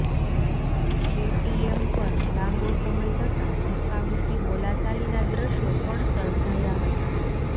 ATM પર લાંબો સમય જતા ધક્કામુક્કી બોલાચાલીના દ્રશ્યો પણ સર્જાયા હતા